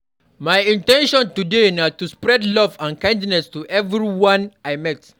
My in ten tion today na to spread love and kindness to everyone I meet.